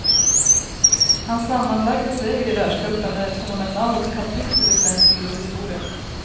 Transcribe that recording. Hans sammanlagda seger i världscupen är ett fenomenalt kapitel i svensk idrottshistoria.